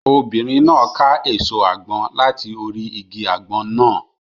Obìnrin náà ká èso àgbọn láti orí igi àgbọn náà.